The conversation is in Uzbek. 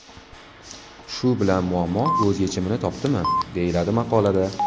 Shu bilan muammo o‘z yechimini topdimi?” deyiladi maqolada.